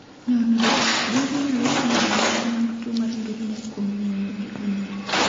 Nonro: Gwogi nyalo fwenyo ranyisi mag tuo mar ndulme kuom ng’weyo gi umgi